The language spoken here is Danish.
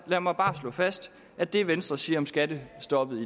lad mig bare slå fast at det venstre siger om skattestoppet